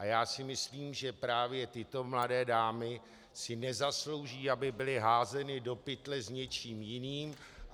A já si myslím, že právě tyto mladé dámy si nezaslouží, aby byly házeny do pytle s něčím jiným.